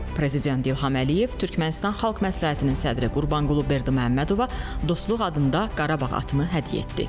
Prezident İlham Əliyev Türkmənistan xalq məsləhətinin sədri Qurbanqulu Berdiməhəmmədova dostluq adında Qarabağ atını hədiyyə etdi.